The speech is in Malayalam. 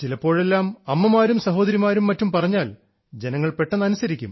ചിലപ്പോഴെല്ലാം അമ്മമാരും സഹോദരിമാരും മറ്റും പറഞ്ഞാൽ ജനങ്ങൾ പെട്ടെന്ന് അനുസരിക്കും